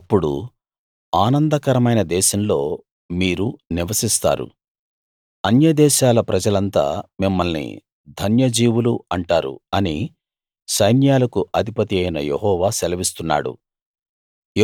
ఇక అప్పుడు ఆనందకరమైన దేశంలో మీరు నివసిస్తారు అన్య దేశాల ప్రజలంతా మిమ్మల్ని ధన్య జీవులు అంటారు అని సైన్యాలకు అధిపతియైన యెహోవా సెలవిస్తున్నాడు